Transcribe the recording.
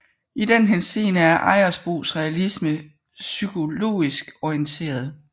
I den henseende er Ejersbos realisme psykologisk orienteret